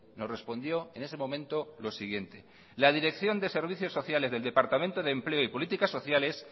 nos respondió en ese momento lo siguiente la dirección de servicios sociales del departamento de empleo y políticas sociales